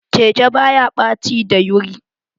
Keke baya ɓaci dayuri.